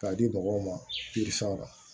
K'a di mɔgɔw ma